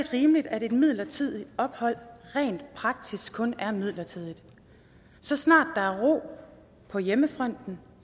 rimeligt at et midlertidigt ophold rent praktisk kun er midlertidigt så snart der er ro på hjemmefronten